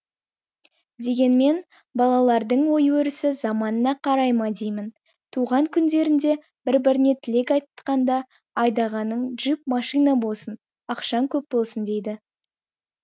дегенмен балалардың ой өрісі заманына қарай ма деймін туған күндерінде бір біріне тілек айтқанда айдағаның джип машина болсын ақшаң көп болсын дейді